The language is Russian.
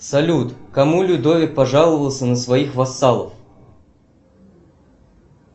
салют кому людовик пожаловался на своих вассалов